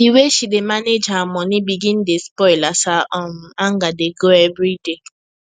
the way she dey she dey manage her money begin dey spoil as her um anger dey grow everyday